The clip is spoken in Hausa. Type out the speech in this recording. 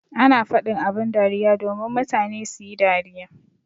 Ana faɗin abin dariya domin mutane suyi dariya.